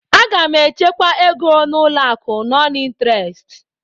A ga m echekwa ego n'ụlọ akụ nọn ịnterest.